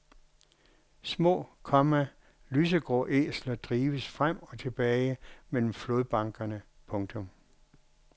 Små, komma lysegrå æsler drives frem og tilbage mellem flodbankerne. punktum